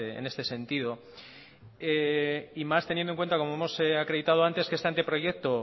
en este sentido y más teniendo en cuenta como hemos acreditado antes que este anteproyecto